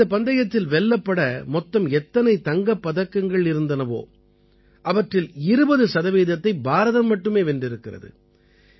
இந்தப் பந்தயத்தில் வெல்லப்பட மொத்தம் எத்தனை தங்கப் பதக்கங்கள் இருந்தனவோ அவற்றில் 20 சதவீதத்தை பாரதம் மட்டுமே வென்றிருக்கிறது